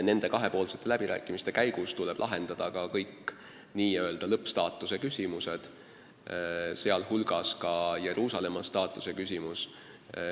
Nende kahepoolsete läbirääkimiste käigus tuleb lahendada ka kõik n-ö lõppstaatuse küsimused, sh ka Jeruusalemma staatuse küsimus.